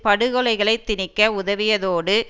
படுகொலைகளை திணிக்க உதவியதோடு